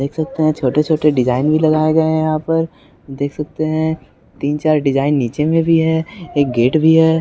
देख सकते है छोटे-छोटे डिज़ाइन भी लगाए गए है यहाँ पर देख सकते है तीन-चार डिज़ाइन नीचे में भी है एक गेट भी है।